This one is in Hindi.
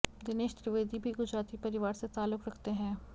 दिनेश त्रिवेदी भी गुजराती परिवार से ताल्लुक रखते हैं